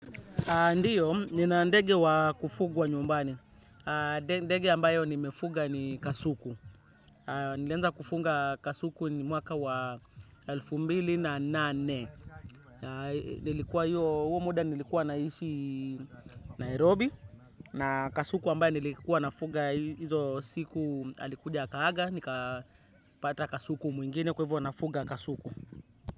Ndiyo, ninaandege wa kufugwa nyumbani. Ndege ambayo nimefuga ni kasuku. Nilianza kufunga kasuku ni mwaka wa elfu mbili na nane. Nilikuwa hiyo, huo muda nilikuwa naishi Nairobi. Na kasuku ambayo nilikuwa nafuga hizo siku alikuja aka haga. Nika pata kasuku mwingine kwa hivyo nafuga kasuku.